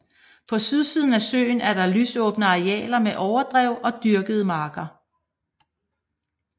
På sydsiden af søen er der lysåbne arealer med overdrev og dyrkede marker